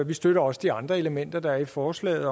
vi støtter også de andre elementer der er i forslaget